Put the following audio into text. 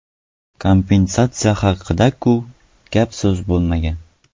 Kompensatsiya haqida-ku gap-so‘z bo‘lmagan.